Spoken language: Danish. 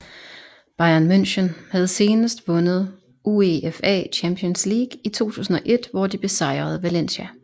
Bayern München havde seneste vundet UEFA Champions League i 2001 hvor de besejrede Valencia